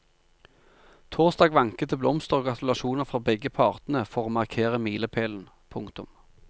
Torsdag vanket det blomster og gratulasjoner fra begge partene for å markere milepælen. punktum